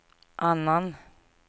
annan